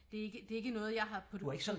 Det er ikke det er ikke noget jeg har puttet